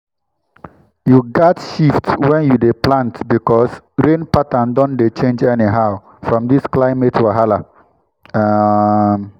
you gats shift when you dey plant because rain pattern don dey change anyhow from this climate wahala. um